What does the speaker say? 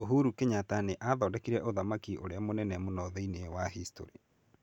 Uhuru Kenyatta nĩ aathondekire ũthamaki ũrĩa mũnene mũno thĩinĩ wa historĩ.